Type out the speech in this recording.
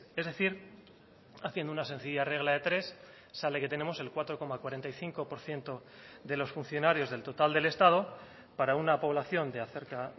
es decir haciendo una sencilla regla de tres sale que tenemos el cuatro coma cuarenta y cinco por ciento de los funcionarios del total del estado para una población de acerca